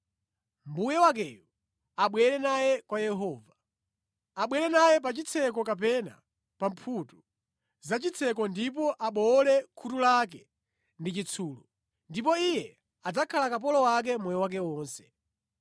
mbuye wakeyo abwere naye kwa Yehova. Abwere naye pa chitseko kapena pa mphuthu zachitseko ndipo abowole khutu lake ndi chitsulo. Ndipo iye adzakhala kapolo wake moyo wake wonse.